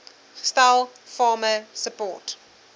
gestel farmer support